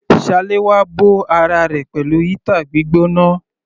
Salewa bó ara rẹ̀ pẹ̀lú heater gbígbóná.